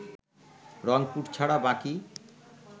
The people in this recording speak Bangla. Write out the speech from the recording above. রংপুর ছাড়া বাকি